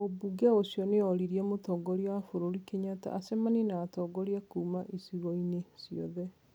Mũmbunge ũcio nĩ oririe mũtongoria wa bũrũri Kenyatta acemanie na atongoria kuuma icigo-inĩ ciothe,